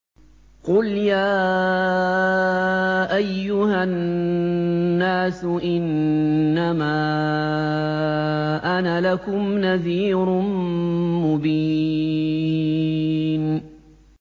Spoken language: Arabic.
قُلْ يَا أَيُّهَا النَّاسُ إِنَّمَا أَنَا لَكُمْ نَذِيرٌ مُّبِينٌ